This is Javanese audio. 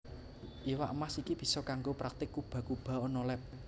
Iwak Mas iki bisa kanggo praktik cuba cuba ana leb